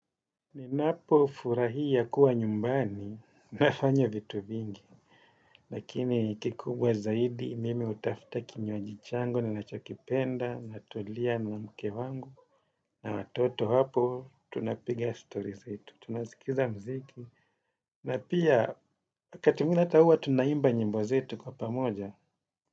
Ninapo furahia kuwa nyumbani, nafanya vitu vingi. Lakini kikubwa zaidi, mimi hutafuta kinywaji changu, ninacho kipenda, na tulia na mke wangu. Na watoto hapo, tunapiga story zetu. Tunasikiza muziki. Na pia, wakati mwingine hata huwa, tunaimba nyimbo zetu kwa pamoja.